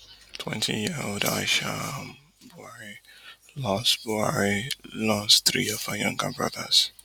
twenty year old aisha um buhari lose buhari lose three of her younger brothers